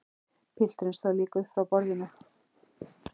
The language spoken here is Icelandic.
Pilturinn stóð líka upp frá borðinu.